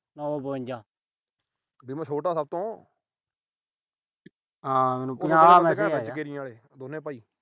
ਵੀ ਮੈਂ ਛੋਟਾ ਸਭ ਤੋਂ। ਹਾਂ ਦੋਨੇ ਭਾਈ।